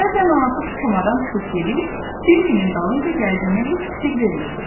Bəzən anası komadan çıxıb gedir, Bembinin dalınca gəldiyinə heç fikir vermirdi.